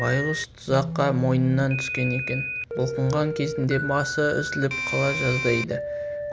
байғұс тұзаққа мойнынан түскен екен бұлқынған кезінде басы үзіліп қала жаздайды